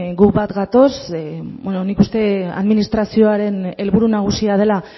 guk bat gatoz nik uste administrazioaren helburu nagusia dela